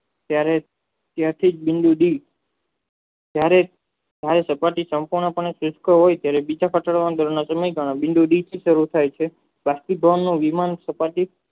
ત્યારે ત્યાંથી જ બિંદુ બિન ધારે સપાટી